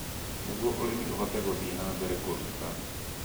nĩguo ũrĩmi ũhote gũthie na mbere kũruta